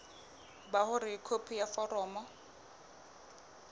ba hore khopi ya foromo